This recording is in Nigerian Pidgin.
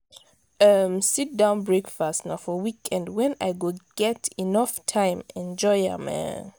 um sit-down breakfast na for weekend wen i go get enough time enjoy am. um